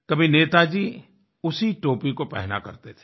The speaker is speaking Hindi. कभी नेताजी उसी टोपी को पहना करते थे